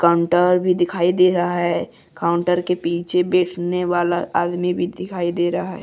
Counter भी दिखाई दे रहा है काउंटर के पीछे बैठने वाला आदमी भी दिखाई दे रहा है।